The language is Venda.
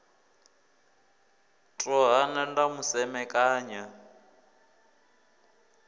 ḽo hana ḽa mu semekanya